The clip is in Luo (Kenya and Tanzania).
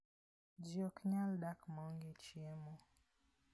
Ji ok nyal dak maonge chiemo.